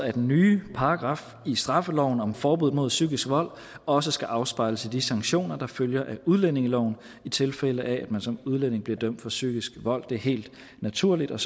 af den nye paragraf i straffeloven om forbud mod psykisk vold også skal afspejles i de sanktioner der følger af udlændingeloven i tilfælde af at man som udlænding bliver dømt for psykisk vold det er helt naturligt og